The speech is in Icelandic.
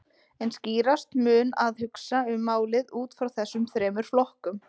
En skýrast mun að hugsa um málið út frá þessum þremur flokkum.